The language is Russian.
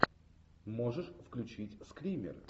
можешь включить скример